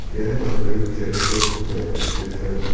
यह मंदिर जयपुर में स्थित है।